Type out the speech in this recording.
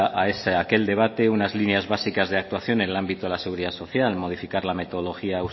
a aquel debate unas líneas básicas de actuación en el ámbito de la seguridad social modificar la metodología